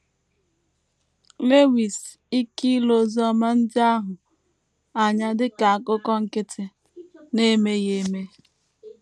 Lewis ike ile Oziọma ndị ahụ anya dị ka akụkọ nkịtị na - emeghị eme.